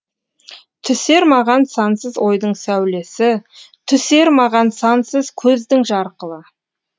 түсер маған сансыз ойдың сәулесі түсер маған сансыз көздің жарқылы